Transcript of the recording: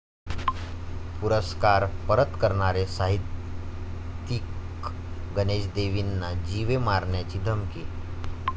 पुरस्कार परत करणारे साहित्यिक गणेश देवींना जीवे मारण्याची धमकी